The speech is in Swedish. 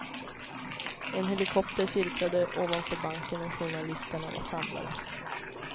En helikopter cirklade ovanför banken och journalisterna var samlade.